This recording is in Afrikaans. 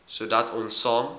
sodat ons saam